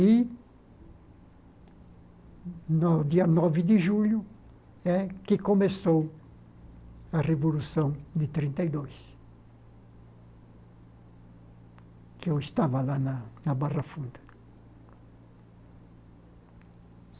E no dia nove de julho é que começou a Revolução de trinta e dois, que eu estava lá na na Barra Funda.